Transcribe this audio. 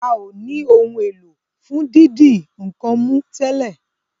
ào ní Ohun èlò fún dídi nǹkan mú tèlé.